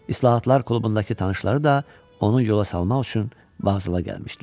İslahatlar klubundakı tanışları da onun yola salmaq üçün vağzala gəlmişdilər.